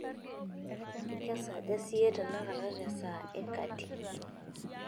kesaaja siyie tenakata tee esaa ee kati